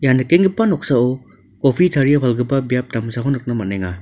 ia nikenggipa noksao kopi tarie palgipa biap damsako nikna man·enga.